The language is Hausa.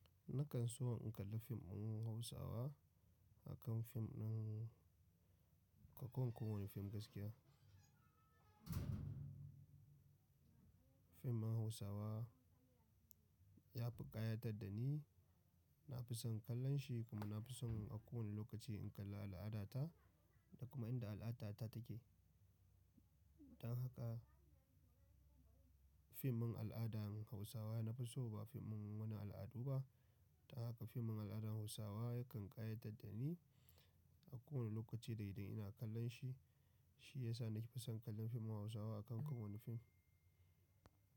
Nakan so in kalla fim ɗin Hausawa akan fim ɗin-- ka ko wani fim gaskiya. Fim ɗin Hausawa ya fi ƙayatar da ni. Na fi son kallon shi kuma na fi son a kowane lokaci in kalla al'ada ta da kuma inda al'adata take. Don haka fim ɗin al'adan Hausawa nafi so ba fim wani al'adu ba. Don haka fim din al'adan Hausawa yakan ƙayatar da ni a kowane lokaci da idan ina kallon shi. Shi ya sa na kifa son kallon fim Hausawa a kan kowane fim.